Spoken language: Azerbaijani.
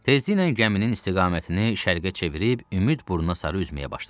Tezliklə gəminin istiqamətini şərqə çevirib ümid burnuna sarı üzməyə başladıq.